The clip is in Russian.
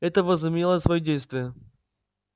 это возымело своё действие